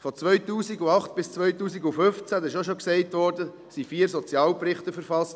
Von 2008 bis 2015 – das wurde auch schon gesagt – wurden vier Sozialberichte verfasst.